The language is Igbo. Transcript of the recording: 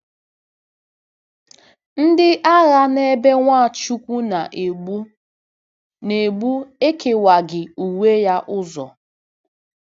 Ndị agha n’ebe Nwachukwu na-egbu na-egbu ekewaghị uwe ya ụzọ.